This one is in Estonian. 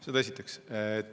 Seda esiteks.